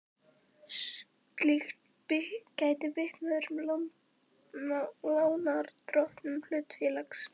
Slíkt gæti bitnað á öðrum lánardrottnum hlutafélags.